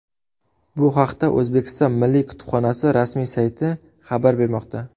Bu haqda O‘zbekiston Milliy kutubxonasi rasmiy sayti xabar bermoqda .